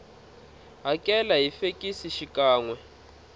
hakela hi fekisi xikan we